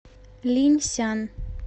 линьсян